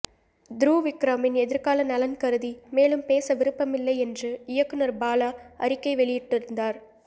துருவ் விக்ரமின் எதிர்கால நலன் கருதி மேலும் பேச விரும்பவில்லை என்று இயக்குநர் பாலா அறிக்கை வெளியிட்டிருந்தார்